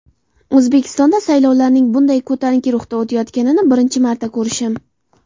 O‘zbekistonda saylovlarning bunday ko‘tarinki ruhda o‘tayotganini birinchi marta ko‘rishim.